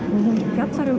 fjallar um